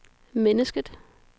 mennesket